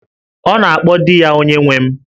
Ọ na-akpọ di ya 'Onyenwe m'